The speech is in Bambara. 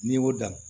N'i y'o dan